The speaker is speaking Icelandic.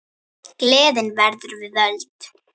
Gleðin verður við völd.